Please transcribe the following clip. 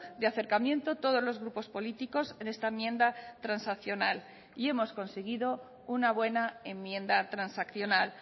de acercamiento todos los grupos políticos en esta enmienda transaccional y hemos conseguido una buena enmienda transaccional